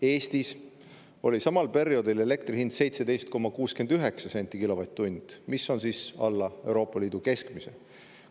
Eestis oli samal perioodil elektri hind 17,69 senti kilovatt-tunni eest, mis on alla Euroopa Liidu keskmise.